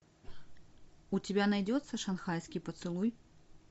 у тебя найдется шанхайский поцелуй